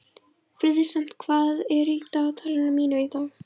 Friðsemd, hvað er í dagatalinu mínu í dag?